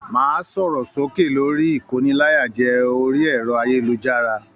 Máa sọ̀rọ̀ sókè lórí ikóníláyàjẹ̀ orí ẹrọ ayélujára!